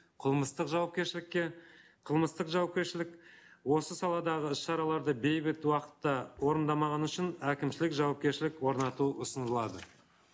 қылмыстық жауапкершілікке қылмыстық жауапкершілік осы саладағы іс шараларды бейбіт уақытта орындамағаны үшін әкімшілік жауапкершілік орнату ұсынылады